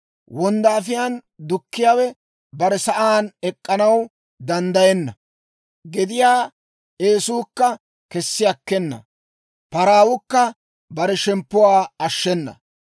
Wonddaafiyaan dukkiyaawe bare sa'aan ek'k'anaw danddayenna; gediyaa eesukka kessi akkena; paraawukka bare shemppuwaa ashshenna.